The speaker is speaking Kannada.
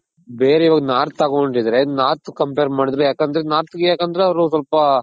ಬೇರೆ ಇವಾಗ north ತಗೊಂಡಿದ್ರೆ north ಗೆ compare ಮಾಡಿದ್ರೆ ಯಾಕಂದ್ರೆ north ಗೆ ಯಾಕಂದ್ರೆ ಅವ್ರು ಸ್ವಲ್ಪ